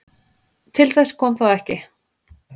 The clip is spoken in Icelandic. Til þess kom þó ekki